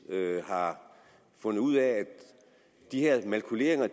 har fundet ud af at de her makuleringer